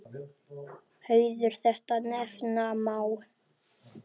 Hauður þetta nefna má.